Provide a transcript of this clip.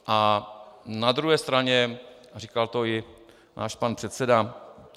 A na druhé straně, říkal to i náš pan předseda.